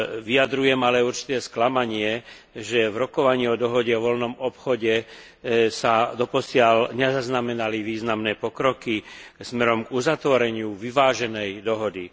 Vyjadrujem ale určité sklamanie, že v rokovaní o Dohode o voľnom obchode sa doposiaľ nezaznamenali významné pokroky smerom k uzatvoreniu vyváženej dohody.